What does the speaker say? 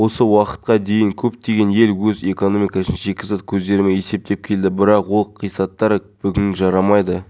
азаматтарға арналған үкімет мемлекеттік корпорациясы коммерциялық емес акционерлік қоғамының қызметкерлері мектепке жол қайырымдылық акциясына белсенді қатысты